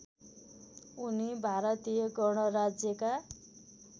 उनी भारतीय गणराज्यका